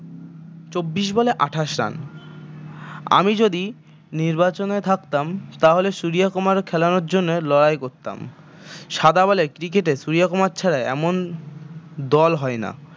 চব্বিশ বলে আটাশ run আমি যদি নির্বাচনে থাকতাম তাহলে সুরিয়া কুমার খেলানোর জন্য লড়াই করতাম সাদা বলে cricket এ সুরিয়া কুমার ছাড়া এমন দল হয় না